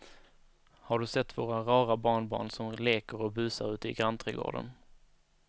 Har du sett våra rara barnbarn som leker och busar ute i grannträdgården!